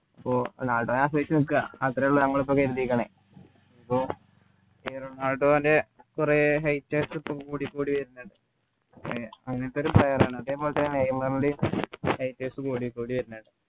പ്പോ നാട സഹിച്ചു നിക്കാ അത്രേ ഉള്ളു മ്മളിപ്പോ കരുതീക്കുണ്‌ പ്പോ ഈ റൊണാൾഡോൻ്റെ കുറെ haters കൂടിക്കൂടി വരുന്നുണ്ട് അങ്ങനത്തെ ഒരു player ആണ് അതുപോലെതന്നെ നെയ്‌മർൻ്റെയും haters കൂടിക്കൂടി വരുന്നുണ്ട്